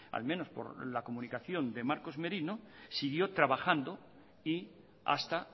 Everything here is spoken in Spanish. al menos por la comunicación de marcos merino siguió trabajando y hasta